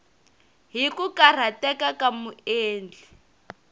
hi ku karhateka ka muendli